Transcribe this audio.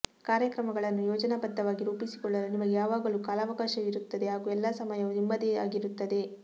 ಕಾರ್ಯಕ್ರಮಗಳನ್ನು ಯೋಜನಾಬದ್ಧವಾಗಿ ರೂಪಿಸಿಕೊಳ್ಳಲು ನಿಮಗೆ ಯಾವಾಗಲೂ ಕಾಲಾವಕಾಶವಿರುತ್ತದೆ ಹಾಗೂ ಎಲ್ಲಾ ಸಮಯವೂ ನಿಮ್ಮದೇ ಆಗಿರುತ್ತದೆ